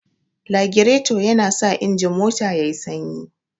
Lagirato yana sa injin mota yayi sanyi